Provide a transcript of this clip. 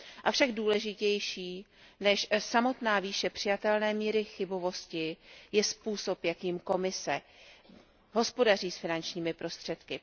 Avšak důležitější než samotná výše přijatelné míry chybovosti je způsob, jakým Komise hospodaří s finančními prostředky.